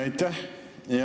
Aitäh!